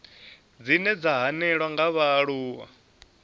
dzine dza hanelelwa nga vhaaluwa